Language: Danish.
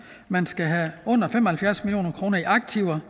man skal have under fem og halvfjerds million kroner i aktiver